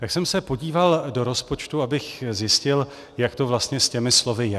Tak jsem se podíval do rozpočtu, abych zjistil, jak to vlastně s těmi slovy je.